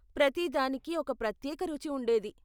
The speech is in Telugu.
ప్రతిదానికి ఒక ప్రత్యేక రుచి ఉండేది.